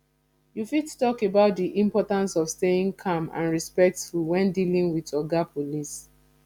you fit talk about di importance of staying calm and respectful when dealing with oga police